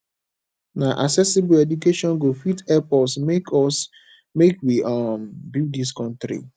na accessible education go fit help us make us make we um build dis country